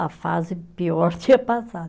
A fase pior tinha passado.